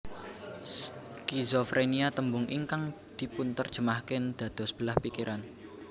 Skizofrénia tembung ingkang dipunterjemahaken dados belah pikiran